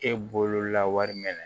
E bolola wari minɛ